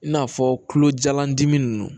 I n'a fɔ tulojan dimi ninnu